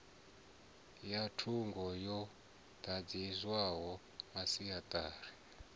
ya thungo yo dadziwaho masiatari